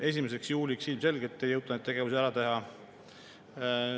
1. juuliks ilmselgelt ei jõuta neid tegevusi ära teha.